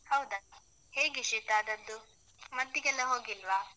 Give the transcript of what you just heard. ಹೌದಾ? ಹೇಗೆ ಶೀತ ಆದದ್ದು? ಮದ್ದಿಗೆಲ್ಲ ಹೋಗಿಲ್ವಾ?